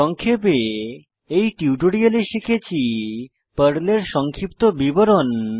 সংক্ষেপে এই টিউটোরিয়ালে শিখেছি পর্লের সংক্ষিপ্ত বিবরণ